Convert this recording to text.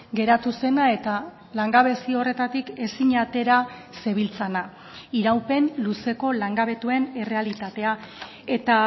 geratu zena eta langabezi horretatik ezin atera zebiltzana iraupen luzeko langabetuen errealitatea eta